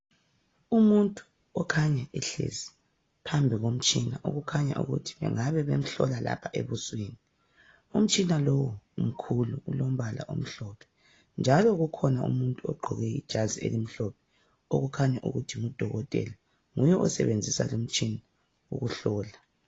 Umuntu okhanya ehlezi phambi komtshina okhanya ukuthi bengabe bemhlola lapha ebusweni. Umtshina lowu umkhulu ulombala omhlophe njalo kukhona umuntu ogqoke ijazi elimhlophe okhanya ukuthi ngudokotela. Nguye osebenzisa umtshina lo ukuhlola.